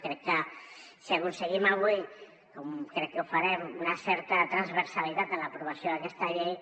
crec que si aconseguim avui com crec que ho farem una certa transversalitat en l’aprovació d’aquesta llei